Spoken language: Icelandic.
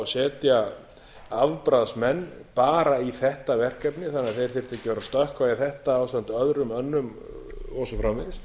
setja afbragðsmenn bara í þetta verkefni þannig að þeir þyrftu ekki að vera að stökkva í þetta ásamt öðrum önnum og svo framvegis